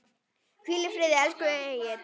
Hvíl í friði, elsku Egill.